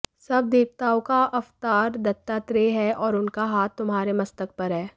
सब देवताओं का अवतार दत्तात्रेय है और उनका हाथ तुम्हारे मस्तक पर है